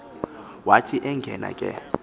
wathi engena ke